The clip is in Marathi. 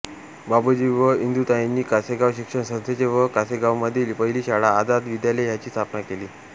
बाबूजी व इंदुताईंनी कासेगाव शिक्षण संस्थेचे व कासेगावमधली पहिली शाळा आझाद विद्यालय ह्याची स्थापना केली